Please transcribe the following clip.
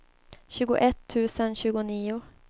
tjugoett tusen tjugonio